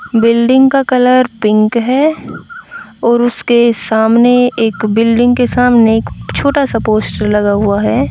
Building का colour pink है और उसके सामने एक बिल्डिंग के सामने एक छोटा सा पोस्टर लगा हुआ है।